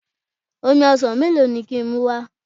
Omi ọsàn melo ni ki n muwa?